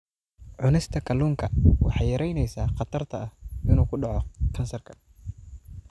Cunista kalluunka waxay yaraynaysaa khatarta ah inuu ku dhaco kansarka.